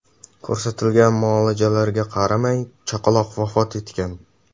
Ko‘rsatilgan muolajalarga qaramay, chaqaloq vafot etgan.